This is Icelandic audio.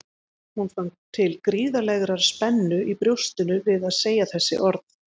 Hún fann til gríðarlegrar spennu í brjóstinu við að segja þessi orð.